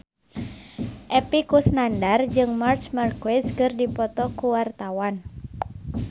Epy Kusnandar jeung Marc Marquez keur dipoto ku wartawan